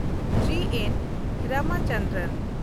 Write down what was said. ᱡᱤ. N. Ramchandran